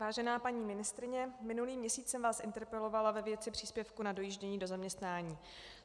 Vážená paní ministryně, minulý měsíc jsem vás interpelovala ve věci příspěvku na dojíždění do zaměstnání.